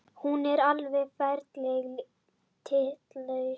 Hún er alveg ferlega tillitslaus